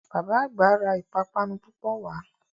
Bàbá àgbà ra ìpápánu púpọ̀ wá